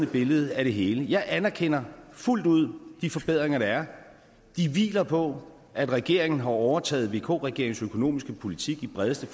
billede af det hele jeg anerkender fuldt ud de forbedringer der er de hviler på at regeringen har overtaget vk regeringens økonomiske politik i bredeste